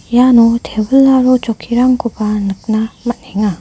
iano tebil aro chokkirangkoba nikna man·enga.